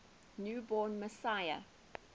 new born messiah